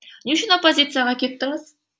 не үшін оппозицияға кеттіңіз